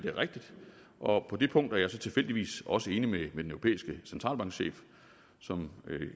er rigtigt og på det punkt er jeg så tilfældigvis også enig med den europæiske centralbanks chef som